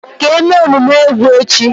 ka eme omume egwu echi.